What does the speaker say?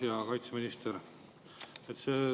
Hea kaitseminister!